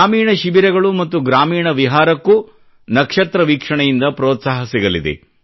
ಗ್ರಾಮೀಣ ಶಿಬಿರಗಳು ಮತ್ತು ಗ್ರಾಮೀಣ ವಿಹಾರಕ್ಕೂ ನಕ್ಷತ್ರ ವೀಕ್ಷಣೆಯಿಂದ ಪ್ರೋತ್ಸಾಹ ಸಿಗಲಿದೆ